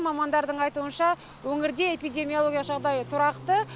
мамандардың айтуынша өңірде эпидемиология жағдайы тұрақты